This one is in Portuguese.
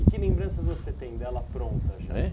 E que lembranças você tem dela pronta já? Hein?